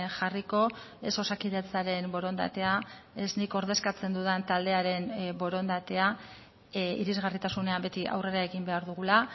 jarriko ez osakidetzaren borondatea ez nik ordezkatzen dudan taldearen borondatea irisgarritasunean beti aurrera egin behar dugula